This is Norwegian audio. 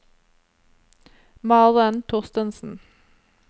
Maren Thorstensen